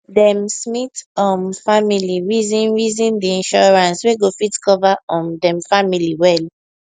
dem smith um family reason reason the insurance wey go fit cover um dem family well